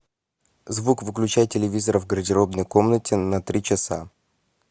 звук выключай телевизора в гардеробной комнате на три часа